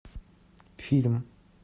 фильм